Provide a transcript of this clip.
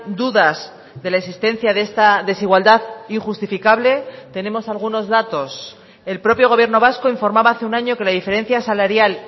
dudas de la existencia de esta desigualdad injustificable tenemos algunos datos el propio gobierno vasco informaba hace un año que la diferencia salarial